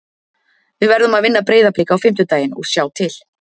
Við verðum að vinna Breiðablik á fimmtudaginn og sjá til.